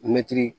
Mɛtiri